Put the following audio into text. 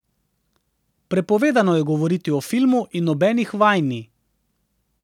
Prepovedano je govoriti o filmu in nobenih vaj ni.